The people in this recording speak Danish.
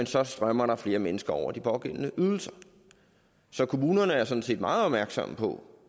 så strømmer der flere mennesker over i de pågældende ydelser så kommunerne er sådan set meget opmærksomme på